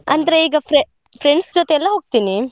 ಅಂದ್ರೆ ಈಗ frie~ friends ಜೊತೆಯೆಲ್ಲ ಹೋಗ್ತೀನಿ.